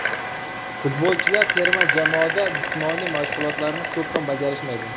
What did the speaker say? Futbolchilar terma jamoada jismoniy mashg‘ulotlarni ko‘p ham bajarishmaydi.